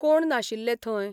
कोण नाशिल्ले थंय?